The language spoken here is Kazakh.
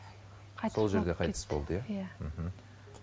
сол жерде қайтыс болды иә иә мхм